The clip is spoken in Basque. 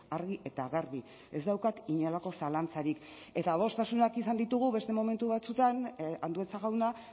argi eta garbi ez daukat inolako zalantzarik eta adostasunak izan ditugu beste momentu batzuetan andueza jauna